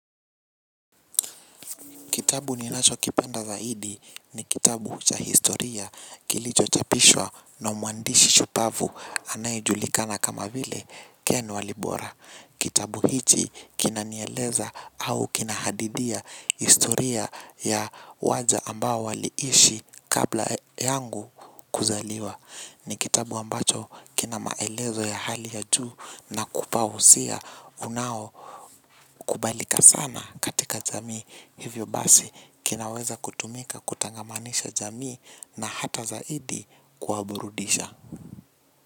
Kitabu ninacho kipenda zaidi ni kitabu cha historia kilicho chapishwa na muandishi shupavu anayejulikana kama vile keni walibora. Kitabu hiti kinanieleza au kinahadidia historia ya waja ambao waliishi kabla yangu kuzaliwa. Ni kitabu ambacho kina maelezo ya hali ya juu na kukupa wosia unao kubalika sana katika jamii. Hivyo basi kinaweza kutumika kutangamanisha jamii na hata zaidi kuwaburudisha.